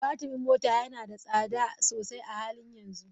Batirin mota yana da tsada sosai a halin yanzu.